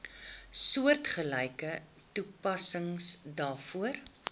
soortgelyke toepassing daarvoor